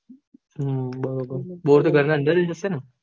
હમ બરોબર bore તો ઘર ના અંદરજ હીસે ને